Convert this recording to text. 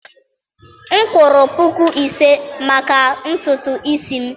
m kwụrụ puku ise maka ntutu isi m.